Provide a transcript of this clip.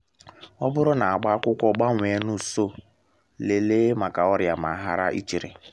ọ bụrụ na agba akwụkwọ gbanwee n’ụsọ lelee maka ọrịa ma hara ichere